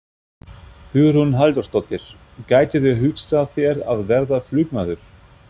Hugrún Halldórsdóttir: Gætirðu hugsað þér að verða flugmaður?